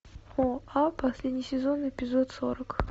оа последний сезон эпизод сорок